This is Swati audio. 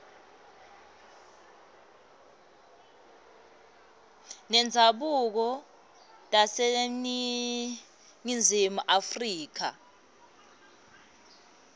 tendzabuko taseningizimu afrika